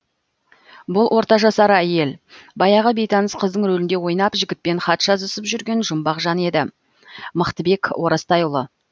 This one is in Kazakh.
бұл орта жасар әйел баяғы бейтаныс қыздың рөлінде ойнап жігітпен хат жазысып жүрген жұмбақ жан еді мықтыбек оразтайұлы